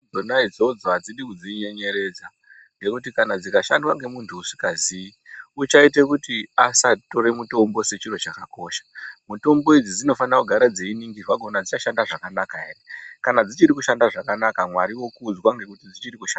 Dzona idzodzo adzidi kudzinyenyeredza ngekuti kana dzikashandwa ngemuntu usingaziyi uchaite kuti asatora mutombo sechiro chakakosha , mutombo idzi dzinofanira kugara dzeiningirwa kuona dzichashanda zvakanaka ere kana dzichiri kushanda zvakanaka Mwari okudzwa ngekuti dzichiri kushanda.